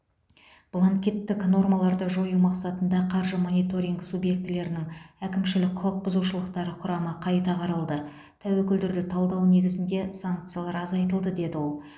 бланкеттік нормаларды жою мақсатында қаржы мониторингі субъектілерінің әкімшілік құқық бұзушылықтары құрамы қайта қаралды тәуекелдерді талдау негізінде санкциялар азайтылды деді ол